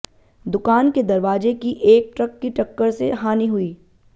दुकान के दरवाजे की एक ट्रक की टक्कर से हानी हुई